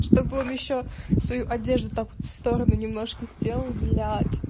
чтобы он ещё свою одежду так вот в сторону немножко сделал блять